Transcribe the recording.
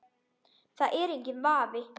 Það er enginn vafi.